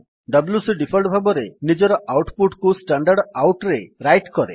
WC default ଭାବରେ ନିଜର output କୁ standardoutରେ ରାଇଟ୍ କରେ